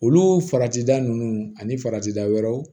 Olu farati da ninnu ani farati da wɛrɛw